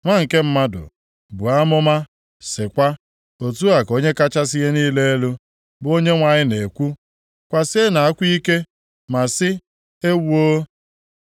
“Nwa nke mmadụ, buo amụma sịkwa, ‘Otu a ka Onye kachasị ihe niile elu, bụ Onyenwe anyị na-ekwu, “ ‘Kwasienụ akwa ike ma sị, “Ewoo, nʼihi ụbọchị ahụ!”